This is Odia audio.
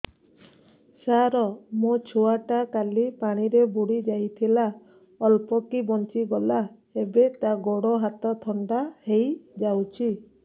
ସାର ମୋ ଛୁଆ ଟା କାଲି ପାଣି ରେ ବୁଡି ଯାଇଥିଲା ଅଳ୍ପ କି ବଞ୍ଚି ଗଲା ଏବେ ତା ଗୋଡ଼ ହାତ ଥଣ୍ଡା ହେଇଯାଉଛି